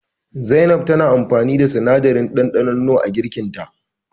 Zainab na amfani da sinadarin ɗanɗanon nor a girkin ta.